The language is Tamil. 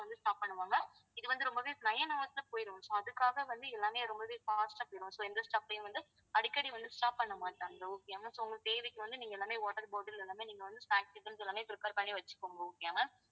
stop பண்ணுவாங்க இது வந்து ரொம்பவே nine hours ல போயிடும் so அதுக்காக வந்து எல்லாமே ரொம்பவே fast ஆ போயிடும் so எந்த stop லயும் வந்து அடிக்கடி வந்து stop பண்ண மாட்டாங்க okay யா ma'amso உங்க தேவைக்கு வந்து நீங்க எல்லாமே water bottle எல்லாமே நீங்க வந்து practicals எல்லாமே prepare பண்ணி வச்சுக்கோங்க okay யா ma'am